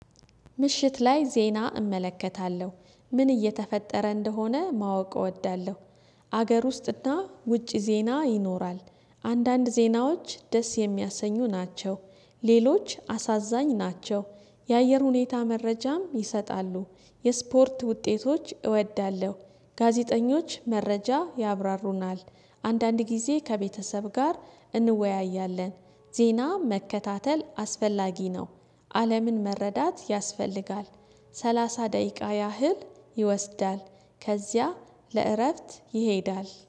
ምሽት ላይ ዜና እመለከታለሁ። ምን እየተፈጠረ እንደሆነ ማወቅ እወዳለሁ። አገር ውስጥና ውጭ ዜና ይኖራል። አንዳንድ ዜናዎች ደስ የሚያሰኙ ናቸው። ሌሎች አሳዛኝ ናቸው። የአየር ሁኔታ መረጃም ይሰጣሉ። የስፖርት ውጤቶች እወዳለሁ። ጋዜጠኞች መረጃ ያብራሩናል። አንዳንድ ጊዜ ከቤተሰብ ጋር እንወያያለን ዜና መከታተል አስፈላጊ ነው። አለምን መረዳት ያስፈልጋል። ሰላሳ ደቂቃ ያህል ይወስዳል ከዚያ ለእረፍት ይሄዳል።